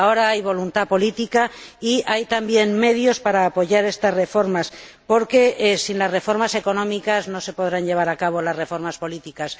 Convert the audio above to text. Ahora hay voluntad política y hay también medios para apoyar estas reformas, porque sin las reformas económicas no se podrán llevar a cabo las reformas políticas.